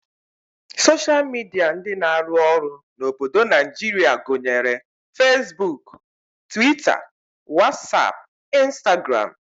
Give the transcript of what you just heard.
Soshal midia ndị na-arụ ọrụ n'obodo Naijirịa gụnyere feesbuk, twita, wasap, Instagram